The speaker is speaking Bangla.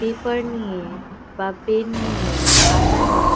পেপার নিয়ে- বা পেন নিয়ে- আঠা নিয়ে।